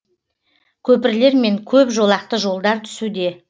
көпірлер мен көп жолақты жолдар түсуде